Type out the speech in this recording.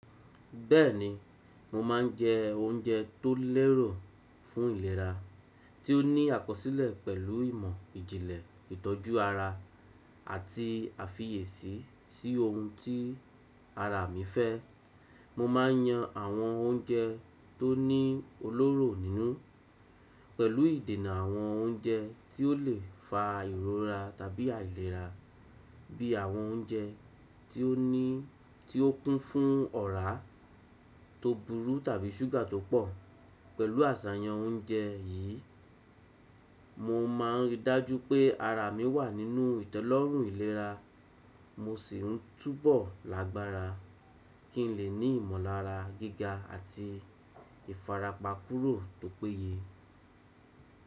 Bẹ́ẹ̀ni, mo máa ń jẹ oúnjẹ tó lẹ́rọ̀ fún ìlera, tí ó ní àkọsílẹ̀ pẹ̀lú ìmọ̀ ìjínlẹ̀ ìtọ́jú ara àti àfiyeẹ̀sí sí ohun tí ara mi fẹ́. Mo máa ń yan àwọn oúnjẹ tó ní olóró nínú, pẹ̀lú ìdènà àwọn oúnjẹ tí ó lè fa ìrora tàbí àìlera, bí i àwọn oúnjẹ tí ó kún fún ọráa tó burú tàbí súgà tó pọ̀. Pẹ̀lú àsàyàn oúnjẹ yìí, mo máa ń ri dájú pé ara mi wà nínú ìtẹ́lọ́rùn ìlera, mo sì ń túbọ̀ lágbára kí ń lè ní ìmọllára gíga àti ìfarapa kúrò tó péye.